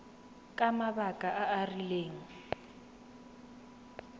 ka mabaka a a rileng